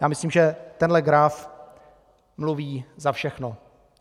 Já myslím, že tenhle graf mluví za všechno.